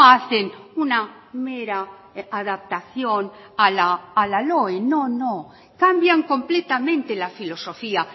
hacen una mera adaptación a la loe no no cambian completamente la filosofía